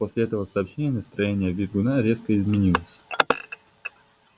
после этого сообщения настроение визгуна резко изменилось